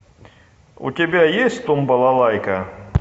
у тебя есть тум балалайка